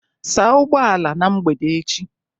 Saa ụgbọ ala na mgbede echi